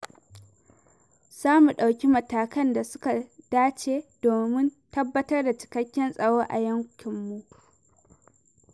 Za mu ɗauki matakan da suka da ce domin tabbatar da cikakken tsaro a yakinmu.